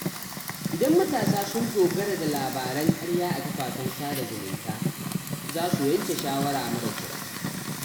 Idan matasa sun dogara da labaran ƙarya a kafafen sada zumunta, za su yanke shawara mara kyau.